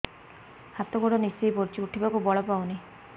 ହାତ ଗୋଡ ନିସେଇ ପଡୁଛି ଉଠିବାକୁ ବଳ ପାଉନି